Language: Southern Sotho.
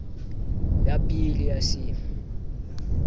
ya b le ya c